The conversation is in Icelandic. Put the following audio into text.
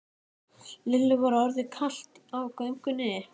Lillu var orðið kalt á göngunni.